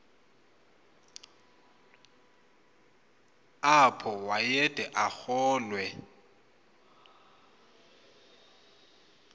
apho wayede arolwe